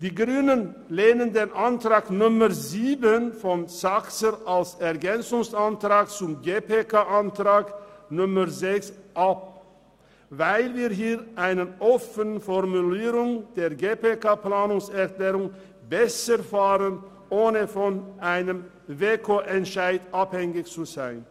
Die Grünen lehnen die Planungserklärung 7 von Grossrat Saxer als Ergänzungsantrag zur GPK-Planungserklärung 6 ab, weil wir hier mit der offenen Formulierung der GPK-Planungserklärung besser fahren und nicht von einem WEKOEntscheid abhängig sind.